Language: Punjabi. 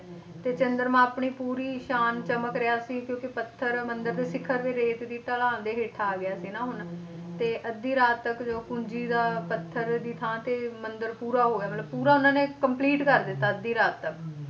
ਤੇ ਚੰਦਰਮਾ ਆਪਣੀ ਪੂਰੀ ਸ਼ਾਨ ਚਮਕ ਰਿਹਾ ਸੀ ਕਿਉਂਕਿ ਪੱਥਰ ਮੰਦਿਰ ਦੇ ਸਿਖ਼ਰ ਤੇ ਰੇਤ ਦੀ ਢਲਾਣ ਦੇ ਹੇਠ ਆ ਗਿਆ ਸੀ ਨਾ ਹੁਣ ਤੇ ਅੱਧੀ ਰਾਤ ਤੱਕ ਜੋ ਪੂੰਜੀ ਦਾ ਪੱਥਰ ਦੀ ਥਾਂ ਤੇ ਮੰਦਿਰ ਪੂਰਾ ਹੋ ਗਿਆ ਮਤਲਬ ਪੂਰਾ ਉਹਨਾਂ ਨੇ complete ਕਰ ਦਿੱਤਾ ਅੱਧੀ ਰਾਤ ਤੱਕ,